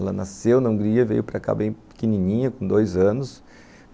Ela nasceu na Hungria, veio para cá bem pequenininha, com dois anos.